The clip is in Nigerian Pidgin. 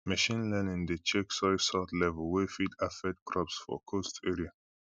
machine learning dey check soil salt level wey fit affect crops for coast area